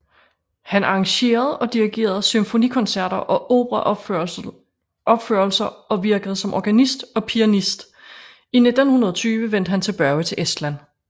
Han arrangerede og dirigerede symfonikoncerter og operaopførelser og virkede som organist og pianist I 1920 vendte han tilbage til Estland